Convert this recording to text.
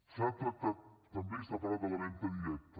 s’ha tractat també i s’ha parlat de la venda directa